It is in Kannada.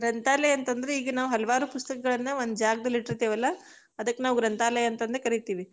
ಗ್ರಂಥಾಲಯ ಅಂತ ಅಂದ್ರ ಈಗ ನಾವು ಹಲವಾರು ಪುಸ್ತಕಗಳನ್ನ ಒಂದ ಜಾಗದಲ್ಲಿ ಇಟ್ಟಿರ್ತೇವಲ್ಲಾ, ಅದಕ್ಕ ನಾವು ಗ್ರಂಥಾಲಯ ಅಂತಂದ ಕರಿತೀವಿ.